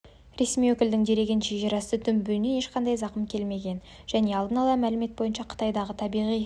ресми өкілдің дерегінше жерасты дүмпуінен ешқандай зақым келмеген және алдын ала мәлімет бойынша қытайдағы табиғи